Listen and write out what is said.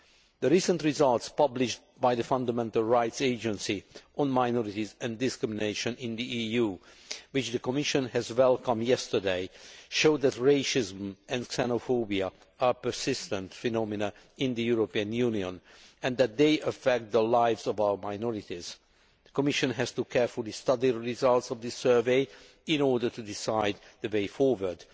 The recent results published by the Fundamental Rights Agency on minorities and discrimination in the EU, which the Commission welcomed yesterday, show that racism and xenophobia are persistent phenomena in the European Union and that they affect the lives of our minorities. The Commission has to carefully study the results of this survey in order to decide the way forward.